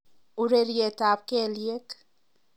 Ureryetab kelyek.